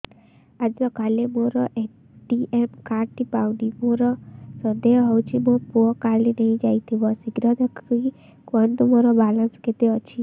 ଆଜି ସକାଳେ ମୋର ଏ.ଟି.ଏମ୍ କାର୍ଡ ଟି ପାଉନି ମୋର ସନ୍ଦେହ ହଉଚି ମୋ ପୁଅ କାଳେ ନେଇଯାଇଥିବ ଶୀଘ୍ର ଦେଖି କୁହନ୍ତୁ ମୋର ବାଲାନ୍ସ କେତେ ଅଛି